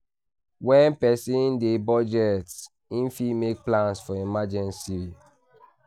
When person dey budget, im fit make plans for emergency